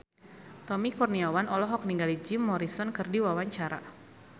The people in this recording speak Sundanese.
Tommy Kurniawan olohok ningali Jim Morrison keur diwawancara